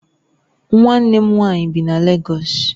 Nwanne m nwanyi bi na Légọs